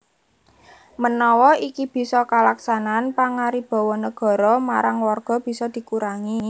Menawa iki bisa kalaksanan pangaribawa Negara marang Warga bisa dikurangi